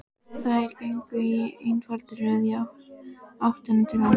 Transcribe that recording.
Þær gengu í einfaldri röð í áttina til hans.